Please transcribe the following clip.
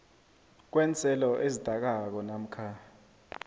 kweenselo ezidakako namkha